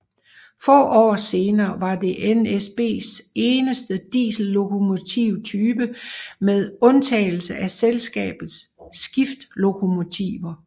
Få år senere var det NSBs eneste diesellokomotype med undtagelse af selskabets skiftlokomotiver